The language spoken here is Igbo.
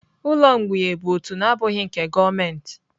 Ụlọ mgbei bụ òtù na-abụghị nke gọọmenti.